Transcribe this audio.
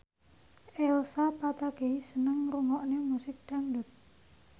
Elsa Pataky seneng ngrungokne musik dangdut